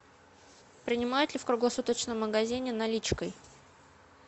принимают ли в круглосуточном магазине наличкой